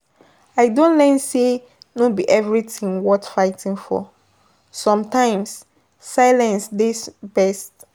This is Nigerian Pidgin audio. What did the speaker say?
I don learn say no be everything worth fighting for, sometimes silence dey best.